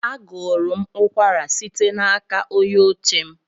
Agụrụ m ụkwara site n'aka onye oche m.